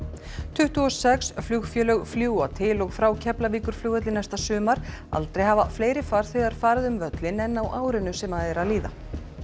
tuttugu og sex flugfélög fljúga til og frá Keflavíkurflugvelli næsta sumar aldrei hafa fleiri farþegar farið um völlinn en á árinu sem er að líða